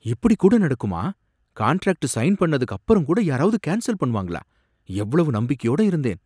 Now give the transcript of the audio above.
இப்படி கூட நடக்குமா! காண்ட்ராக்ட் சைன் பண்ணதுக்கு அப்புறம் கூட யாராவது கேன்சல் பண்ணுவாங்களா! எவ்வளவு நம்பிக்கையோட இருந்தேன்!